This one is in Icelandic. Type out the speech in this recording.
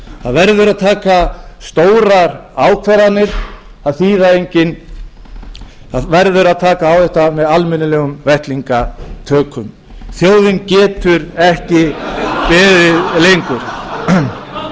það verður að taka stórar ákvarðanir það verður að taka á þessu með almennilegum vettlingatök þjóðin getur ekki beðið